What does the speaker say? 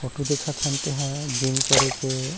Photo देखत हन तेन ह जीम करे के ऐ।